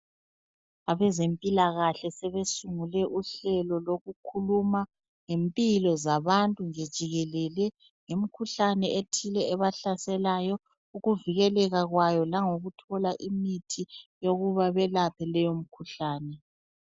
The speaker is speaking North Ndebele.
Abezempilakahle sebesungule uhlelo lokukhuluma ngempilo zabantu nje jikelele ngemkhuhlane ethile ebahlaselayo ukuvikeleka kwayo langokuthola imithi yokuba belaphe leyomikhuhlane.